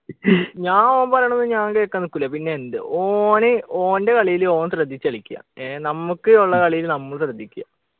ഞാൻ ഓൻ പറയുണത് ഞാൻ കേക്കാൻ നിക്കൂല പിന്നെ എന്ത് ഓന് ഓൻ്റെ കളിയില് ഓൻ ശ്രദ്ധിച്ചു കളിക്ക ഏർ നമ്മക്ക് ഉള്ള കളിയില് നമ്മൾ ശ്രദ്ധിക്ക